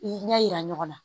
I ɲɛ yira ɲɔgɔn na